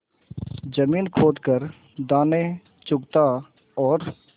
जमीन खोद कर दाने चुगता और